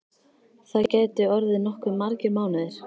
Það gætu orðið nokkuð margir mánuðir.